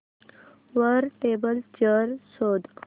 वर table chair शोध